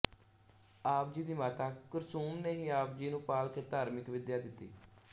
ਆਪ ਜੀ ਦੀ ਮਾਤਾ ਕੁਰਸੂਮ ਨੇ ਹੀ ਆਪਜੀ ਨੂੰ ਪਾਲ ਕੇ ਧਾਰਮਿਕ ਵਿੱਦਿਆ ਦਿੱਤੀ